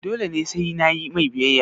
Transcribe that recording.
dole ne sai nayi mai biyayya?